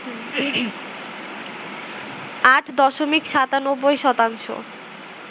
৮ দশমিক ৯৭ শতাংশ